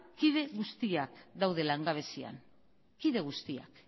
kide guztiak daude langabezian kide guztiak